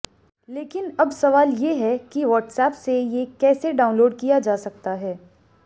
लेकिन अब सवाल ये है कि व्हाट्सऐप से ये कैसे डाउनलोड किया जा सकता है